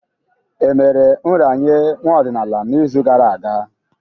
Emere nraranye nwa ọdịnala n'izu gara aga?